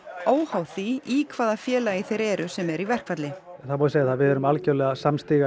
óháð því í hvaða félagi þeir eru sem eru í verkfalli það má segja að við erum algjörlega samtíga